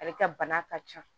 Ale ka bana ka ca